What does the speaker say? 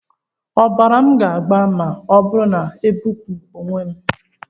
Ọbara m ga-agba ma ọ bụrụ na m ebipụ onwe m?